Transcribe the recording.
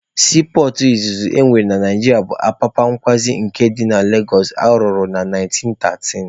Siipọọtụ izizi e nwere na Naijiria bụ Apapa kwazi nke dị na Legosụ arụrụ na 1913.